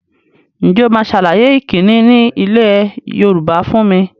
Ǹjẹ́ o máa sàlàyé ìkíni ni ilẹ̀ Yorùbá fún mi?